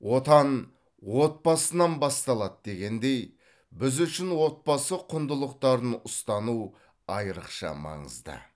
отан отбасынан басталады дегендей біз үшін отбасы құндылықтарын ұстану айрықша маңызды